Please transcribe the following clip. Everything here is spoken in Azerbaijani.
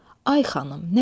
Ay xanım, nə bilim?